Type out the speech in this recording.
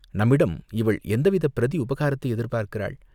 நம்மிடம் இவள் எந்தவித பிரதி உபகாரத்தை எதிர்பார்க்கிறாள்?